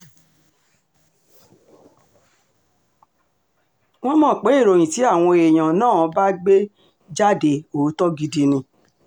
wọ́n mọ̀ pé ìròyìn tí àwọn èèyàn náà gbé bá jáde òótọ́ gidi ni